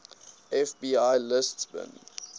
fbi lists bin